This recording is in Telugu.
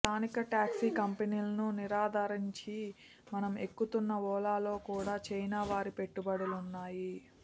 స్థానిక టాక్సీ కంపెనీలను నిరాదరించి మనం ఎక్కుతున్న ఓలాలో కూడా చైనా వారి పెట్టుబడులున్నాయి